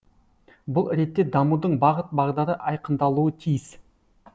бұл ретте дамудың бағыт бағдары айқындалуы тиіс